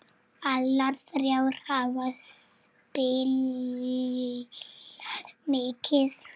Allar þrjár hafa spilað mikið.